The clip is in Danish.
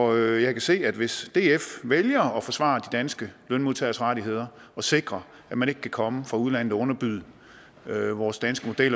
og jeg kan se at hvis df vælger at forsvare de danske lønmodtageres rettigheder og sikrer at man ikke kan komme fra udlandet og underbyde vores danske model